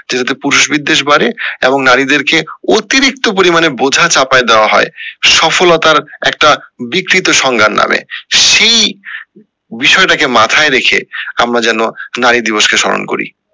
এটা তে পুরুষ বিদ্বেষ বাড়ে এবং নারীদের কে অতিরিক্ত পরিমানে বোঝা চাপায় দেওয়া হয় সফলতার একটা বিকৃত সংজ্ঞার নাম সেই বিষয়টা কে মাথায় রেখে আমরা যেন নারী দিবস কে সম্মান করি